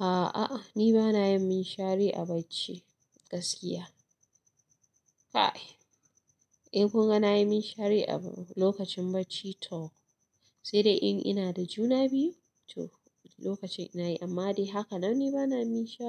A'a, a'a ni bana yin minshari a bacci gaskiya. Kai, eh kun ga na yi min shari a lokacin bacci toh. Sai dai in ina da juna biyu toh lokacin nayi amma dai haka nan ni bana minshiri.